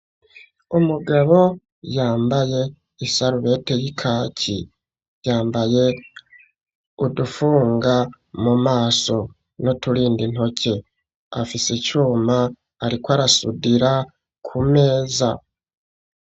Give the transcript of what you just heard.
umugabo yambaye isaruvete y'ikaki yambaye udufunga mu maso n'uturindi intoke afise icyuma ariko arasudira ku meza